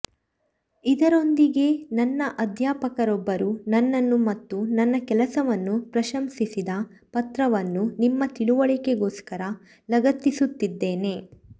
ಇದರೊಂದಿಗೇ ನನ್ನ ಅಧ್ಯಾಪಕರೊಬ್ಬರು ನನ್ನನ್ನು ಮತ್ತು ನನ್ನ ಕೆಲಸವನ್ನು ಪ್ರಶಂಸಿದ ಪತ್ರವನ್ನು ನಿಮ್ಮ ತಿಳುವಳಿಕೆಗೋಸ್ಕರ ಲಗತ್ತಿಸುತ್ತಿದ್ದೇನೆ